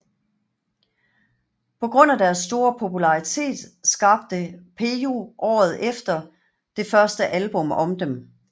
På grund af deres store popularitet skabte Peyo året efter det første album om dem